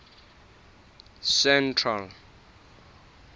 central